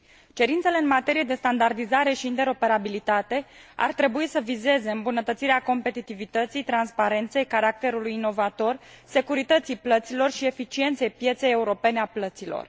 Cerințele în materie de standardizare și interoperabilitate ar trebui să vizeze îmbunătățirea competitivității, transparenței, caracterului inovator, securității plăților și eficienței pieței europene a plăților.